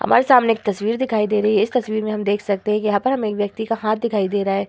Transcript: हमारे सामने एक तस्वीर दिखाई दे रही है। इस तस्वीर में हम देख सकते हैं यहां पर हमें एक व्यक्ति का हाथ दिखाई दे रहा है।